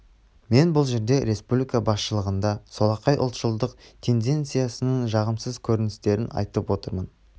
мен бұл жерде республика басшылығындағы солақай ұлтшылдық тенденцияның жағымсыз көріністерін айтып отырмын